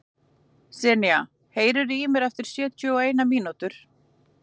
Senía, heyrðu í mér eftir sjötíu og eina mínútur.